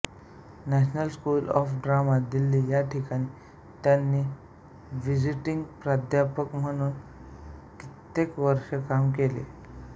national School of Drama Delhi या ठिकाणी त्यांनी विझिटिंग प्राध्यापक म्हणूनही कित्येक वर्ष काम केले